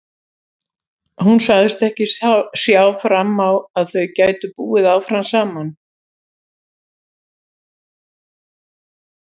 Hún sagðist ekki sjá fram á að þau gætu búið áfram saman.